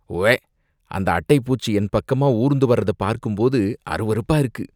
உவ்வே! அந்த அட்டைப் பூச்சி என் பக்கமா ஊர்ந்து வர்றத பார்க்கும் போது அருவருப்பா இருக்கு!